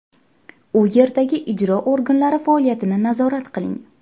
U yerdagi ijro organlari faoliyatini nazorat qiling.